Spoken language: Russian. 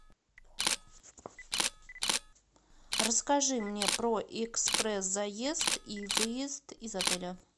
расскажи мне про экспресс заезд и выезд из отеля